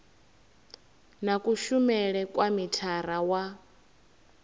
na kushumele kwa mithara wa